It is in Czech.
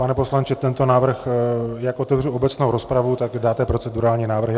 Pane poslanče, tento návrh - jak otevřu obecnou rozpravu, tak dáte procedurální návrhy.